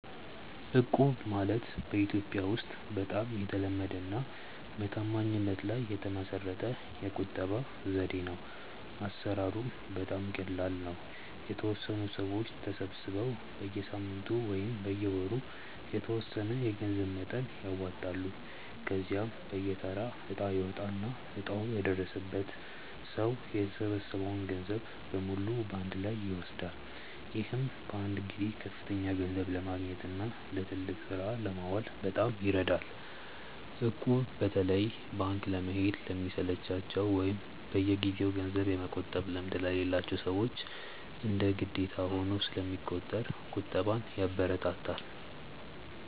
እቁብ ማለት በኢትዮጵያ ውስጥ በጣም የተለመደና በታማኝነት ላይ የተመሰረተ የቁጠባ ዘዴ ነው። አሰራሩም በጣም ቀላል ነው፤ የተወሰኑ ሰዎች ተሰባስበው በየሳምንቱ ወይም በየወሩ የተወሰነ የገንዘብ መጠን ያዋጣሉ። ከዚያም በየተራ እጣ ይወጣና እጣው የደረሰው ሰው የተሰበሰበውን ገንዘብ በሙሉ በአንድ ላይ ይወስዳል። ይህም በአንድ ጊዜ ከፍተኛ ገንዘብ ለማግኘትና ለትልቅ ስራ ለማዋል በጣም ይረዳል። እቁብ በተለይ ባንክ ለመሄድ ለሚሰለቻቸው ወይም በየጊዜው ገንዘብ የመቆጠብ ልምድ ለሌላቸው ሰዎች እንደ ግዴታ ሆኖ ስለሚቆጥር ቁጠባን ያበረታታል።